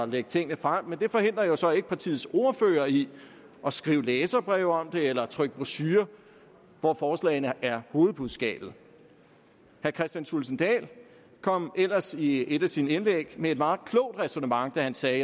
lægge tingene frem men det forhindrer jo så ikke partiets ordførere i at skrive læserbreve om det eller trykke brochurer hvor forslagene er hovedbudskabet herre kristian thulesen dahl kom ellers i et af sine indlæg med et meget klogt ræsonnement da han sagde